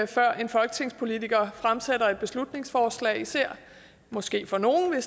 før en folketingspolitiker fremsætter et beslutningsforslag måske for nogle